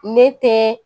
Ne tɛ